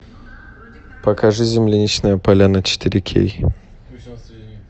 покажи земляничная поляна четыре кей